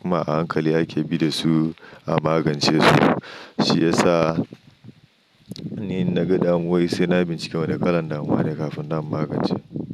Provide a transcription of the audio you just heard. kuma a hankali ake bi da su a magance su. Shi ya sa ni in na ga damuwowi sai na bincika wane kalan damuwa ne kafin nan in magance.